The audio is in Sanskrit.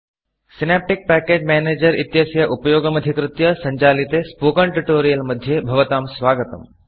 Synaptic package synaptic package manager इत्यस्य उपयोगमधिकृत्य सञ्चालिते स्पोकेन Tutorialस्पोकन् ट्युटोरियल् मध्ये भवतां स्वागतम्